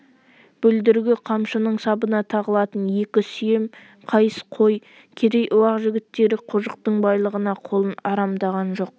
бүлдіргі қамшының сабына тағылатын екі сүйем қайыс қой керей-уақ жігіттері қожықтың байлығына қолын арамдаған жоқ